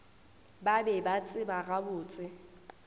ba be ba tseba gabotse